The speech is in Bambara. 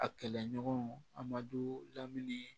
A kɛlɛɲɔgɔnw a madu lamini